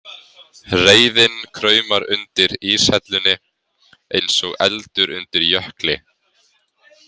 Reiðin kraumar undir íshellunni, eins og eldur undir jökli.